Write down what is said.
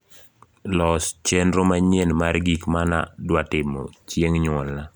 los chenro manyien mar gik mana dwatimo chieng` nyuolna